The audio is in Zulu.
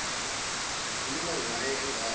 ukhuluma ngaye engazi